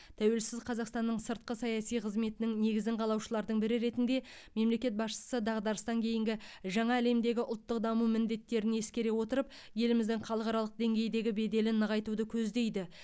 тәуелсіз қазақстанның сыртқы саяси қызметінің негізін қалаушылардың бірі ретінде мемлекет басшысы дағдарыстан кейінгі жаңа әлемдегі ұлттық даму міндеттерін ескере отырып еліміздің халықаралық деңгейдегі беделін нығайтуды көздейді